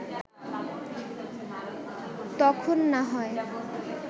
তখন না হয়